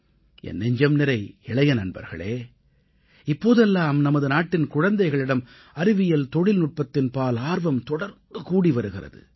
என் நெஞ்சம்நிறை இளைய நண்பர்களே இப்போதெல்லாம் நமது நாட்டின் குழந்தைகளிடம் அறிவியல்தொழில்நுட்பத்தின் பால் ஆர்வம் தொடர்ந்து கூடி வருகிறது